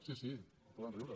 sí sí poden riure